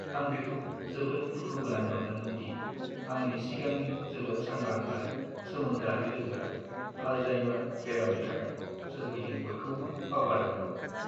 आं बेखौ जोबोद दुखुगोनां मोनदोंमोन दि आंनि सिगांनि जोबोद सांग्रां आरो सोमोन्दोआरि लोगोआ आल्जाइमार बेरामनि थाखाय सोरगिदिं बयखौबो बावगारदोंमोन!